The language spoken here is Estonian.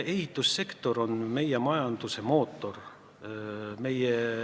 Ehitussektor on meie majanduse mootor.